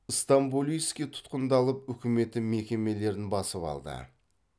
стамболийский тұтқындалып үкіметі мекемелерін басып алды